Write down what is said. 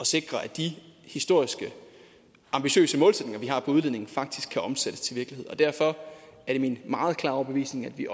sikre at de historisk ambitiøse målsætninger vi har udledningen faktisk kan omsættes til virkelighed og derfor er det min meget klare overbevisning at vi